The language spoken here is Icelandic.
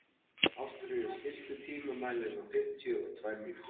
Ástfríður, stilltu tímamælinn á fimmtíu og tvær mínútur.